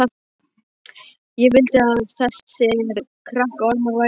Ég vildi að þessir krakkaormar væru ekki til.